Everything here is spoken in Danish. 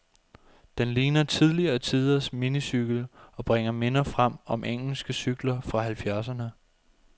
Den ligner tidligere tiders minicykel, og bringer minder frem om engelske cykler fra halvfjerdserne.